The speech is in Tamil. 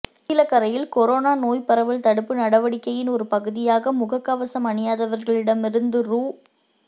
கீழக்கரையில் கரோனா நோய் பரவல் தடுப்பு நடவடிக்கையின் ஒரு பகுதியாக முகக் கவசம் அணியாதவா்களிடமிருந்து ரூ